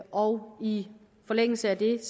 og i forlængelse af det